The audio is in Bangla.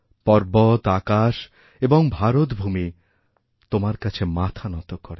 পর্বত আকাশ এবংভারতভূমি তোমার কাছে মাথা নত করে